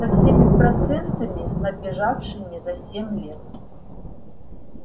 со всеми процентами набежавшими за семь лет